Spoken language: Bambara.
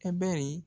A bɛri